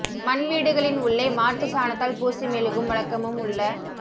மண் வீடுகளின் உள்ளே மாட்டுச் சாணத்தால் பூசி மெழுகும் வழக்கமும் உள்ள